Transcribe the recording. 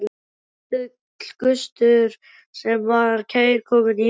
Dálítill gustur sem var kærkominn í hitanum.